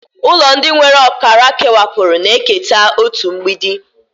Ụlọ ndị nwere ọkara kewapụrụ na-eketa otu mgbidi.